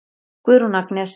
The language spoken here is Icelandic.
Guðrún Agnes.